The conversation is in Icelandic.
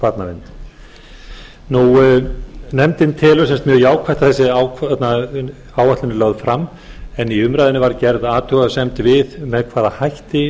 eftirlit með barnavernd nefndin telur mjög jákvætt að þessi áætlun er lögð fram en í umræðunni var gerð athugasemd við með hvaða hætti